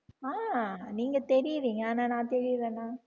ஆஹ் நீங்க தெரியறீங்க ஆனா நான் தெரியறேனா